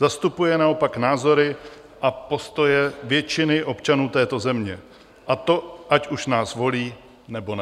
Zastupuje naopak názory a postoje většiny občanů této země, a to ať už nás volí, nebo ne.